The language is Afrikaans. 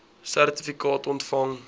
sertifikaat ontvang